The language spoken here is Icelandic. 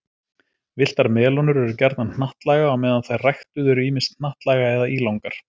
Villtar melónur eru gjarnan hnattlaga á meðan þær ræktuðu eru ýmist hnattlaga eða ílangar.